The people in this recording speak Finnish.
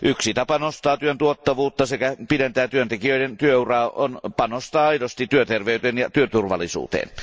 Yksi tapa nostaa työn tuottavuutta sekä pidentää työntekijöiden työuraa on panostaa aidosti työterveyteen ja työturvallisuuteen.